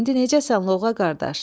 İndi necəsən, Lovğa qardaş?